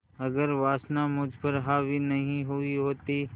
अगर वासना मुझ पर हावी नहीं हुई होती